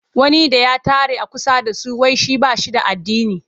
Wani da ya tare a kusa da su.wai shi ba shi da addini.